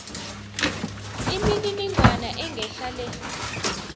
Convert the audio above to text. imininingwana engehla le